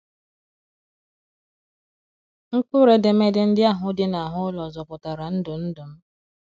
Mkpụrụ edemede ndị ahụ dị n’ahụ ụlọ zọpụtara ndụ ndụ m.